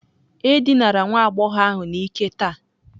E dinara nwa agbọghọ ahụ n'ike taa.